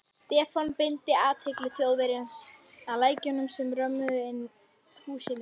Stefán beindi athygli Þjóðverjans að lækjunum sem römmuðu húsin inn.